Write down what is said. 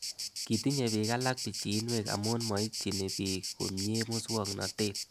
Kitinye pik alak pichinwek amu maitchini pich komie muswognatet